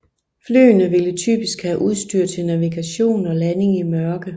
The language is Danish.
Flyene vil typisk have udstyr til navigation og landing i mørke